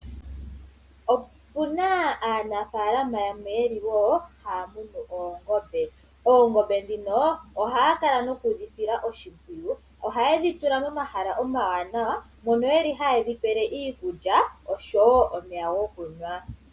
Opuna aanafalama yamwe ye li wo haya munu oongombe. Oongombe dhino ohaya kala noku dhi sila oshimpwiyu, ohaye dhi tula momahala omawanawa mono yeli haye dhi pele iikulya oshowo omeya gokunwa.